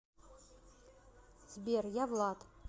сбер я влад